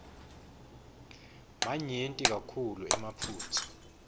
manyenti kakhulu emaphutsa